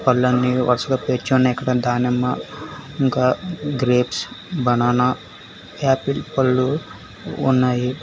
పళ్ళు అన్ని వరుసగా పేర్చి ఉన్నాయి. ఇక్కడ దానిమ్మ ఇంకా గ్రేప్స్ బనానా యాపిల్ పళ్ళు ఉన్నాయి.